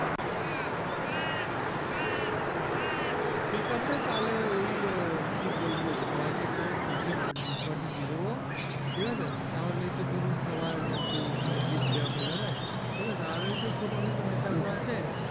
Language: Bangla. ঠিক আছে তাহলে ওই কি বলবো সবাই কে একটা কাচের ডিস বাটি দিয়ে দেব ঠিক আছে তাহলেই তো ধরুন সবার একটু gift দেওয়া হয়ে যাবে ঠিক আছে আর ওই যে ছোটো ছোটো নেতা গুলো আছে